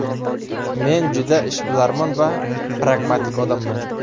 Men juda ishbilarmon va pragmatik odamman.